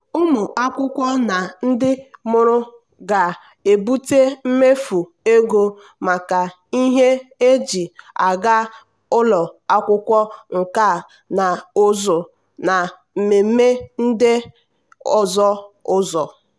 ụmụ akwụkwọ na ndị mụrụ ga-ebute mmefu ego maka ihe eji aga ụlọ akwụkwọ nkà na ụzụ na mmemme ndị ọzọ ụzọ.